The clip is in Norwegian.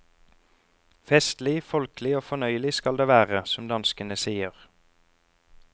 Festlig, folkelig og fornøyelig skal det være, som danskene sier.